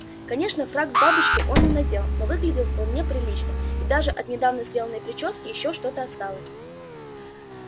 конечно фрак с бабочкой он не надел но выглядел вполне прилично и даже от недавно сделанной причёски ещё что-то осталось